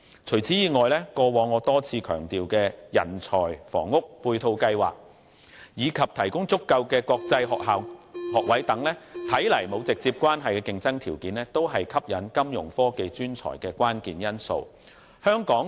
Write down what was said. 除此以外，過往我多次強調的人才房屋配套計劃，以及提供足夠的國際學校學位等看來沒有直接關係的競爭條件，也是吸引金融科技專才的關鍵因素。